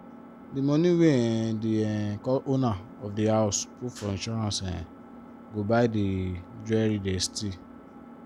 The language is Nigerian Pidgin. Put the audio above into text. di money wey um di um owner of di house put for insurance um go buy di jewelry they steal.